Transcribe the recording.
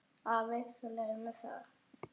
Afi, þú leyfir mér það.